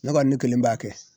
Ne ka ne kelen b'a kɛ